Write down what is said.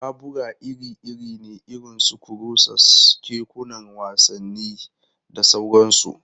Babura iri-iri ne irin su kurusas, kekunan wasanni, da sauransu.